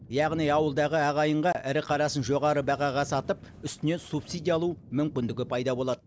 яғни ауылдағы ағайынға ірі қарасын жоғары бағаға сатып үстінен субсидия алу мүмкіндігі пайда болады